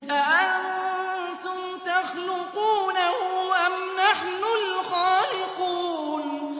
أَأَنتُمْ تَخْلُقُونَهُ أَمْ نَحْنُ الْخَالِقُونَ